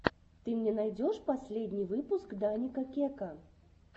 ты мне найдешь последний выпуск даника кека